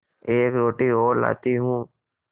एक रोटी और लाती हूँ